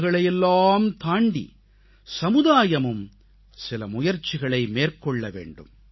விருதுகளையெல்லாம் தாண்டி சமுதாயமும் சில முயற்சிகளை மேற்கொள்ள வேண்டும்